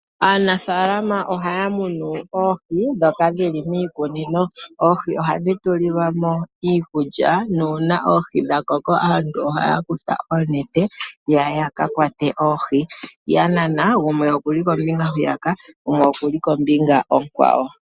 Aanafaalama ohaya munu oohi dhoka dhili miikunino, oohi ohadhi tulilwamo iikulya nuuna oohi dhakoko aantu ohaya kutha onete etaa kakwata oohi, yanana onete kombinga nombinga.